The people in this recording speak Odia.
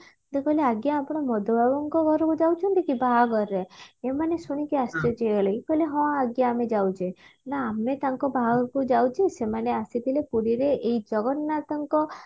ସେ କହିଲେ ଆଜ୍ଞା ଆପଣ ମଧୁବାବୁଙ୍କ ଘରକୁ ଯାଉଛନ୍ତି କି ବାହାଘରରେ ଏମାନେ ଶୁଣିକି ଆଶ୍ଚର୍ଯ୍ୟ ହେଇଗଲେ ଇଏ କହିଲେ ହଁ ଆଜ୍ଞା ଆମେ ଯାଉଛେ ନ ଆମେ ତାଙ୍କ ବାହାଘରକୁ ଯାଉଛୁ ସେମାନେ ଆସିଥିଲେ ପୁରୀରେ ଏଇ ଜଗନ୍ନାଥଙ୍କ